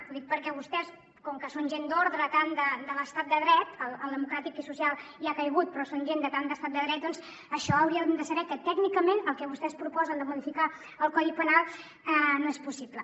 ho dic perquè vostès com que són gent d’ordre tant de l’estat de dret el democràtic i social ja ha caigut però són gent de tant d’estat de dret doncs això haurien de saber que tècnicament el que vostès proposen de modificar el codi penal no és possible